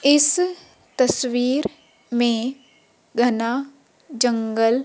इस तस्वीर में घना जंगल--